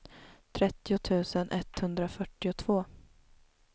trettio tusen etthundrafyrtiotvå